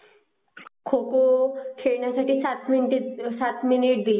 खो खो खेळण्यासाठी काय म्हणतात ते सात मिनिटे दिली जाते.